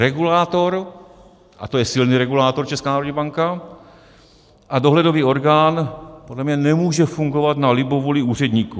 Regulátor, a to je silný regulátor, Česká národní banka, a dohledový orgán podle mě nemůže fungovat na libovůli úředníků.